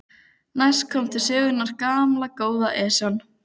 Næst kom til sögunnar gamla, góða Esjan.